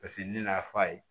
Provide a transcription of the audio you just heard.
Paseke ne nan'a fɔ a ye